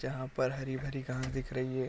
जहाँ पर हरी-भरी घास दिख रही है।